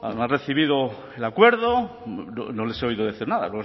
no han recibido el acuerdo no les he oído decir nada